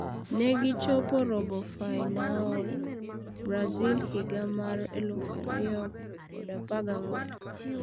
Negi chopo robofainaol Brazil higa mar 2014.